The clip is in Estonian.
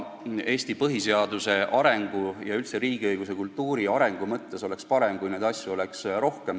Eesti põhiseaduse ja üldse riigiõiguse arengu mõttes oleks parem, kui neid asju oleks rohkem.